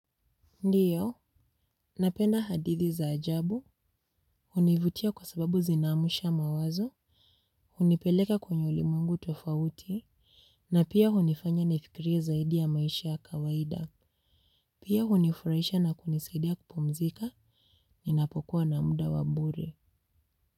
Ndiyo, napenda hadithi za ajabu, univutia kwa sababu zinamusha mawazo, unipeleka kwenye ulimwengu tofauti, na pia unifanya nifikirie zaidi ya maisha kawaida, pia unifurahisha na kunisaidia kupomzika, ninapokuwa na muda wa bure.